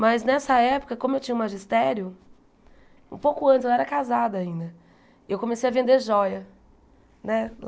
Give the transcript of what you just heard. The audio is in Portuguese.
Mas, nessa época, como eu tinha o magistério, um pouco antes, eu era casada ainda, eu comecei a vender jóia, né?